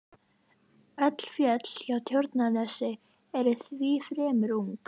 Hann umturnaðist alveg þegar við lögðumst í heyið.